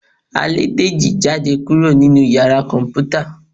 à lẹ dejí jadé kuro ninú ìyára Kọǹpútà